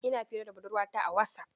Ina hira da budurwata a Wasaf.